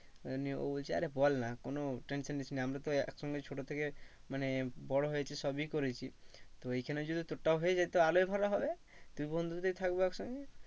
আবার নিয়ে ও বলছে আরে বল না কোনো tension নিস না আমরা তো এক সঙ্গে ছোটো থেকে মানে বড়ো হয়েছি সবই করেছি। তো এখানে যদি তোরটাও হয়ে যায় তাহলে আরো ভালো হবে। দুই বন্ধুতেই থাকবো এক সঙ্গে